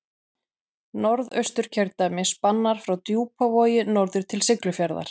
Norðausturkjördæmi spannar frá Djúpavogi norður til Siglufjarðar.